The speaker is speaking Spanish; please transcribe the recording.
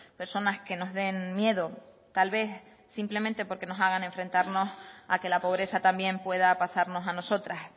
personas que nos den miedo tal vez simplemente porque nos hagan enfrentarnos a que la pobreza también pueda pasarnos a nosotras